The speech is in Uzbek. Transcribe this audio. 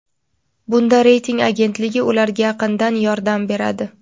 bunda reyting agentligi ularga yaqindan yordam beradi.